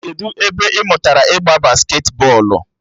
Kedụ ebe ị mụtara ịgba basketi bọọlụ?